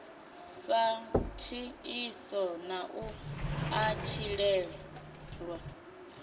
sa tshiḽiso na u ṱatshilelwa